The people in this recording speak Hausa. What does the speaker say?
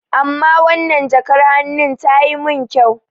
Amma wannan jakar hannun ki tayi mun kyau.